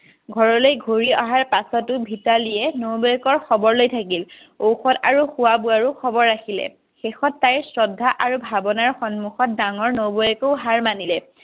ঘৰলৈ ঘুৰি অহাৰ পাছতো ভিতালীয়ে নবৌৱেকৰ খবৰ লৈ থাকিল। ঔষধ আৰু খোৱা বোৱাৰো খবৰ ৰাখিলে। শেষত তাই শ্ৰদ্ধা আৰু ভাৱনাৰ সন্মুখত ডাঙৰ নবৌৱেকো হাৰ মানিলে